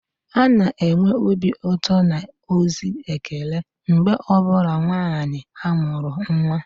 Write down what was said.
A na-enwe obi ụtọ na ozi ekele mgbe ọ bụla nwanyị amụrụ nwa